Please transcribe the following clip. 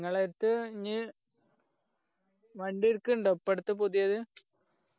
നിങ്ങളേടത്ത് ഇനി വണ്ടി എട്ക്ക്ണ്ടാ ഇപ്പൊ അടുത്ത് പുതിയത്